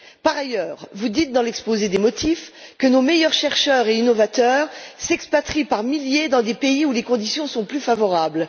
Par ailleurs, vous dites dans l'exposé des motifs que nos meilleurs chercheurs et innovateurs s'expatrient par milliers dans des pays où les conditions sont plus favorables.